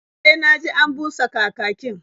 E, na ji an busa kakakin.